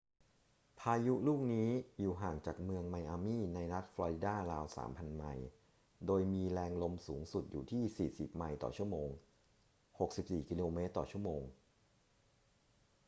พายุลูกนี้อยู่ห่างจากเมืองไมอามี่ในรัฐฟลอริดาราว 3,000 ไมล์โดยมีแรงลมสูงสุดอยู่ที่ 40 ไมล์/ชม. 64 กม./ชม.